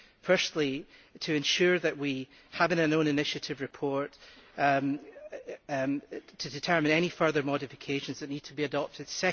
Firstly, to ensure that we have an own initiative report to determine any further modifications that need to be adopted.